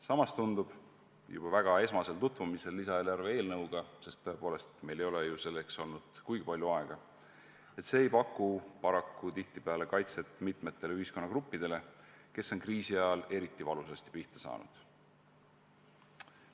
Samas tundub juba esmasel eelnõuga tutvumisel – tõepoolest, meile ei ole ju selleks kuigi palju aega antud –, et paraku ei paku see kaitset mitmetele ühiskonnagruppidele, kes on kriisi ajal eriti valusasti pihta saanud.